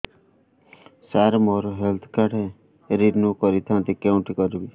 ସାର ମୋର health card renew କରିଥାନ୍ତି କେଉଁଠି କରିବି